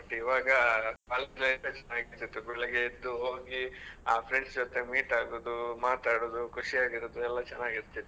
ಇವಾಗ college life best ಬೆಳಿಗ್ಗೆ ಎದ್ದು ಹೋಗಿ ಆ friends ಜೊತೆ meet ಆಗೋದು ಮಾತಾಡೋದ್, ಖುಷಿಯಾಗಿರೋದು ಎಲ್ಲಾ ಚೆನ್ನಾಗ್ ಇರ್ತಿತ್ತು.